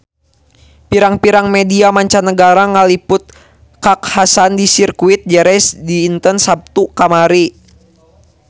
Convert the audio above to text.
Pirang-pirang media mancanagara ngaliput kakhasan di Sirkuit Jerez dinten Saptu kamari